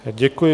Děkuji.